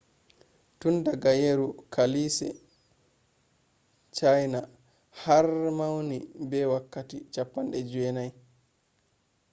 tun daga yeru kaalise chiana har mauni be wakkatti 90